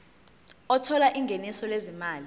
othola ingeniso lezimali